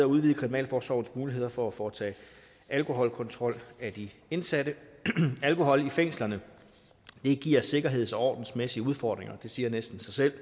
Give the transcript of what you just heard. udvide kriminalforsorgens muligheder for at foretage alkoholkontrol af de indsatte alkohol i fængslerne giver sikkerheds og ordensmæssige udfordringer det siger næsten sig selv